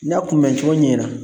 N y'a kunbɛncogo ɲɛra